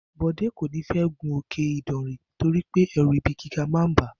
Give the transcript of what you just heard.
Bò̩dé kò ní fé̩ gun Òkè Ìdànrè torí pé è̩rù̩ ibi gíga a máa bàá